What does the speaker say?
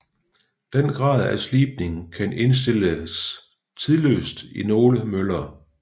Den grad af slibning kan indstilles trinløst i nogle møller